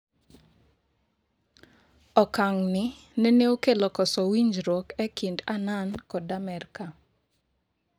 Okang'ni nene okelo koso winjruok e kind Annan kod Amerka.